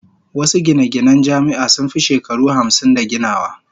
Wasu gine-ginen Jami'a sun fi shekaru hamsin da ginawa